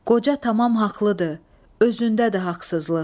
Qoca tamam haqlıdır, özündədir haqsızlıq.